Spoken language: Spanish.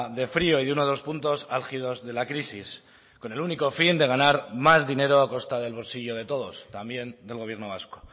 de frio y uno de los puntos álgidos de la crisis con el único fin de ganar más dinero a costa del bolsillo de todos también del gobierno vasco